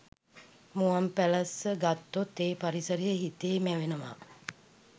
මුවන්පැලැස්ස ගත්තොත් ඒ පරිසරය හිතේ මැවෙනවා